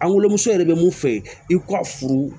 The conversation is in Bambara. An wolomuso yɛrɛ bɛ mun fɛ i ka furu